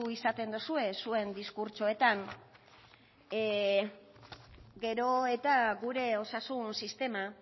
izaten dozue zuen diskurtsoetan gero eta gure osasun sistema